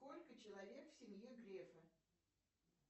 сколько человек в семье грефа